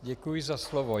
Děkuji za slovo.